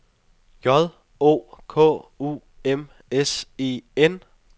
J O K U M S E N